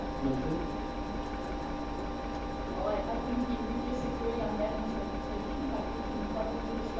Well I think that we disagree on that interpretation, but we can probably discuss that in the future in a follow up.